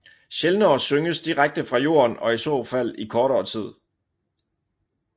Sjældnere synges direkte fra jorden og i så fald i kortere tid